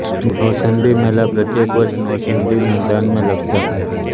नौचन्दी मेला प्रत्येक वर्ष नौचन्दी मैदान में लगता है